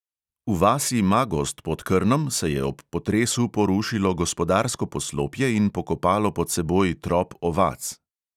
V vasi magozd pod krnom se je ob potresu porušilo gospodarsko poslopje in pokopalo pod seboj trop ovac.